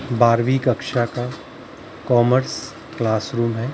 बारहवीं कक्षा का कॉमर्स क्लासरूम हैं ।